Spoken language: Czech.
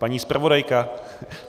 Paní zpravodajka!